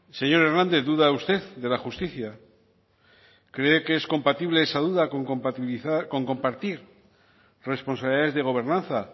señor hernández duda usted de la justicia cree que es compatible esa duda con compartir responsabilidades de gobernanza